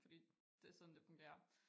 Fordi det sådan det fungerer